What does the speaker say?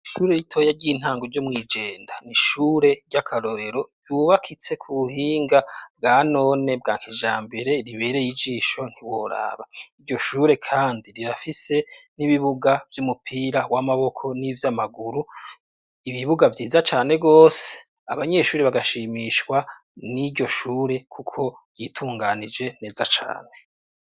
Ishure ritoya ry'intango ryo mw'ijenda ni ishure ry'akarorero ryubakitse ku buhinga bwa none bwa nkijambere, ribereye ijisho ntiworaba. Iryo shure kandi rirafise n'ibibuga vy'umupira w'amaboko n'ivy'amaguru, ibibuga vyiza cane gose. Abanyeshuri bagashimishwa n'iryo shure kuko ryitunganije neza cane.